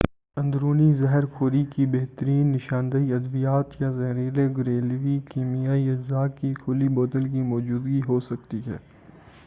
اندرونی زہرخوری کی بہترین نشاندہی ادویات یا زہریلے گھریلو کیمیائی اجزاء کی کُھلی بوتل کی موجودگی ہوسکتی ہے